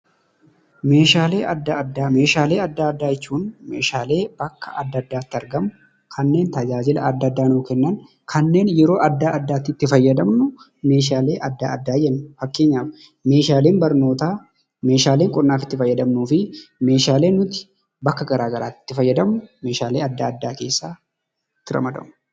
Meeshaalee addaa addaa. Meeshaalee addaa addaa jechuun meeshaalee kanneen bakka addaa addaatti argamu kan tajaajila addaa addaaf tajaajilamnuu meeshaalee addaa addaa jenna. Fakkeenyaaf meeshaalee barnoota, meeshaalee qonnaa fi meeshaalee nuti bakka garaa gariitti itti fayyadamnu meeshaalee addaa addaa jedhamu.